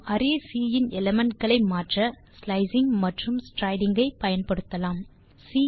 நாம் array C இன் element களை மாற்ற ஸ்லைசிங் மற்றும் ஸ்ட்ரைடிங் ஐ பயன்படுத்தலாம்